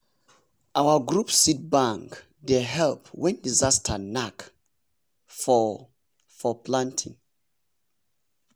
our group seed bank dey help when disaster knack for for planting.